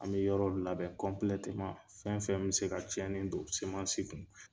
An be yɔrɔ labɛn kɔnpilɛtɛman fɛn fɛn bi se ka cɛnni don semansi kun